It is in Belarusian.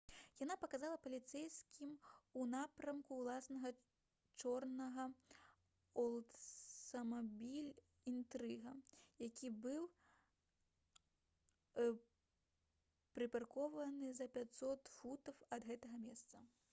яна паказала паліцэйскім у напрамку ўласнага чорнага «олдсмабіль інтрыга» які быў прыпаркаваны за 500 футаў ад гэтага месца